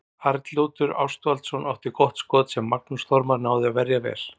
Arnljótur Ástvaldsson átti gott skot sem Magnús Þormar náði að verja vel.